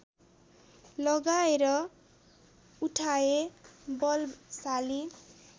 लगाएर उठाए बलशाली